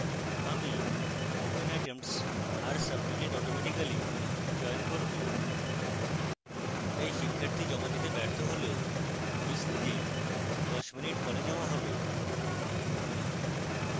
আমি open attempts are submitted automatically চয়ন করব তাই শিক্ষার্থী জমা দিতে ব্যর্থ হলেও quiz নিজেই 10 mins পরে জমা হবে